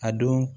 A don